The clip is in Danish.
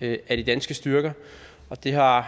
af de danske styrker og det har